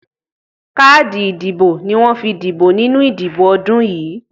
Káàdì ìdìbò ni wọ́n fi dìbò nínú ìdìbò ọdún yìí.